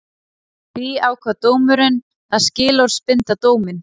Því ákvað dómurinn að skilorðsbinda dóminn